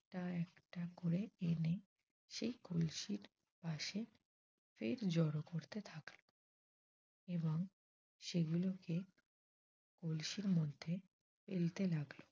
টা একটা করে এনে সেই কলসির পাশে ফের জড়ো করতে থাকল। এবং সেগুলোকে কলসির মধ্যে ফেলতে লাগল।